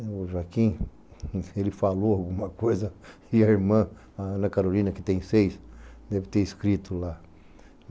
O Joaquim, ele falou alguma coisa e a irmã Ana Carolina, que tem seis, deve ter escrito lá.